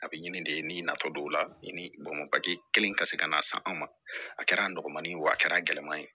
A bɛ ɲini de nafa don o la ni kelen ka se ka n'a san an ma a kɛra nɔgɔmani ye wa a kɛra gɛlɛya ye